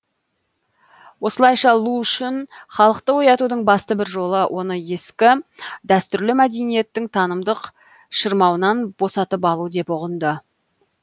осылайша лу шүн халықты оятудың басты бір жолы оны ескі дәстүрлі мәдениеттің танымдық шырмауынан босатып алу деп ұғынды